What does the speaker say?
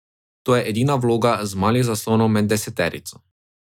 To je edina vloga z malih zaslonov med deseterico.